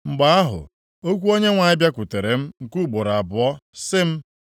Mgbe ahụ, okwu Onyenwe anyị bịakwutere m nke ugboro abụọ, sị m,